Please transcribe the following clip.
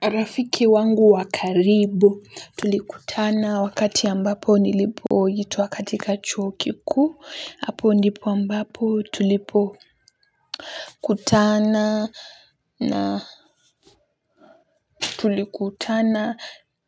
Rafiki wangu wa karibu tulikutana wakati ambapo nilipoitwa katika chuo kikuu. Hapo ndipo ambapo tulipokutana na tulikutana